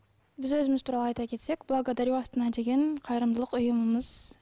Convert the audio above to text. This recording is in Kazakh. біз өзіміз туралы айта кетсек благодарю астана деген қайырымдылық ұйымымыз